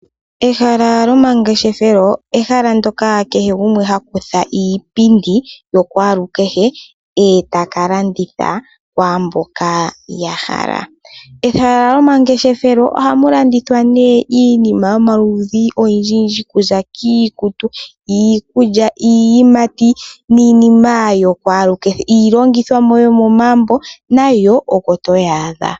Ehala lyomangeshefelo, ehala ndyoka kehe gumwe hakutha iipindi yokwaalukehe eta kalanditha kwaamboka yahala. Ehala lyomangeshefelo ohamu landithwa iinima yomaludhi ogendjigendji okuza iikutu, iikulya, iiyimati niinima yokwaalukehe, iilongithomwa yomomagumbo nayo oko toyi adha.